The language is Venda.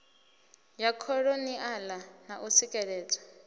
ya kholoniala na u tsikeledzwa